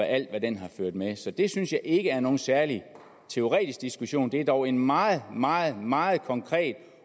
alt hvad den har ført med sig så det synes jeg ikke er nogen særlig teoretisk diskussion det er dog en meget meget meget konkret